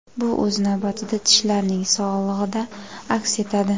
Bu, o‘z navbatida, tishlarning sog‘ligida aks etadi.